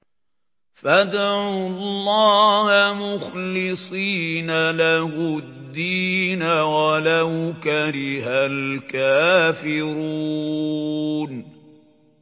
فَادْعُوا اللَّهَ مُخْلِصِينَ لَهُ الدِّينَ وَلَوْ كَرِهَ الْكَافِرُونَ